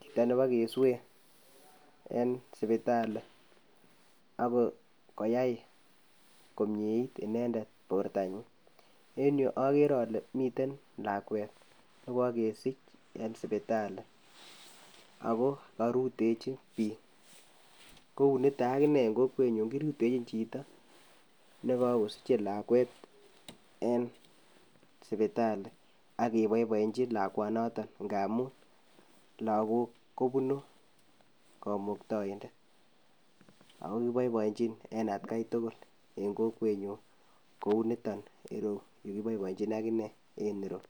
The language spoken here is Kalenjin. chito nebokeswei en sibitali ak koyai komiet bortanyin en yu akere ale mitten lakwet nebokeswei en sipitali ako korutechin biik. Kouniton akine en kokwenyun kirutechin chito nekookosichi lakwet en sipitali ak keboiboenyin lakwanoton ngamun logook kobunu komuktaindet ak kiboiboinyin en etkai tugul en kokwenyun KO yuton yukiboiboenyun akine en ireu